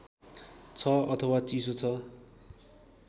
छ अथवा चिसो छ